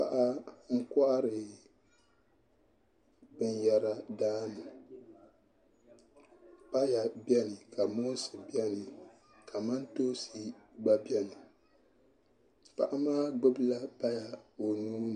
Paɣa n kohari binyɛra daani paya biɛni ka moonsi biɛni kamantoosi gba biɛni paɣa maa gbubila paya o nuuni